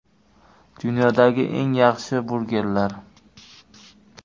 Dunyodagi eng yaxshi burgerlar .